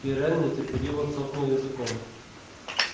пирен нетерпеливо цокнул языком